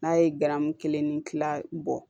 N'a ye garamu kelen ni kila bɔ